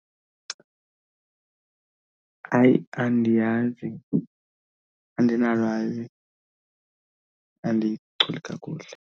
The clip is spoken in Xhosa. Hayi andiyazi, andinalwazi, andiyichuli kakuhle.